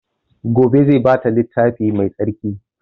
Gobe zai ba ta littafi mai tsarki